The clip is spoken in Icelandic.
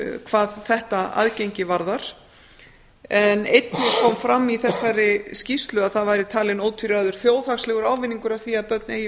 hvað þetta aðgengi varðar einnig kom fram í þessari skýrslu að það væri talinn ótvíræður þjóðhagslegur ávinningur á því að börn eigi